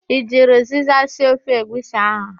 I jiri ụzịza sie ofe egwusi ahụ?